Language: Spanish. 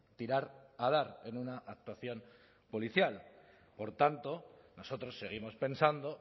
tirar a dar en una actuación policial por tanto nosotros seguimos pensando